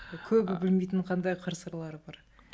көбі білмейтін қандай қыр сырлары бар